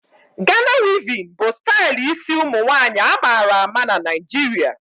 Gana wevin bụ stali ịsi ụmụnwanyị a mara ama n'Naijiria